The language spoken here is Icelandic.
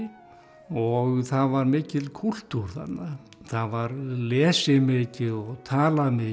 og það var mikill kúltúr þarna það var lesið mikið og talað mikið